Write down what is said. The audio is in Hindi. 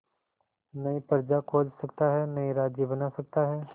नई प्रजा खोज सकता है नए राज्य बना सकता है